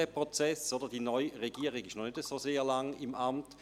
Die neue Regierung ist noch nicht so lange im Amt.